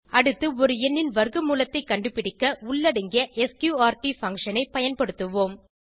அடுத்து ஒரு எண்ணின் வர்க்க மூலத்தைக் கண்டுபிடிக்க உள்ளடங்கிய ஸ்க்ரூட் பங்ஷன் ஐ பயன்படுத்துவோம்